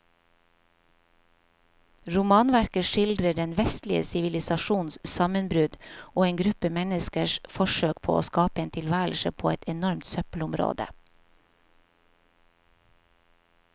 Romanverket skildrer den vestlige sivilisasjons sammenbrudd og en gruppe menneskers forsøk på å skape en tilværelse på et enormt søppelområde.